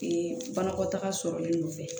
banakɔtaga sɔrɔlen nɔfɛ